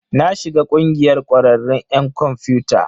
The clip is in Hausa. Na shiga ƙungiyar ƙwararrun 'yan kwamfiyuta.